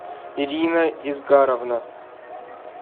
ирина изгаровна